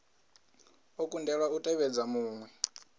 o kundelwaho u tevhedza muṅwe